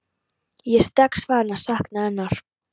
Ég er strax farinn að sakna hennar.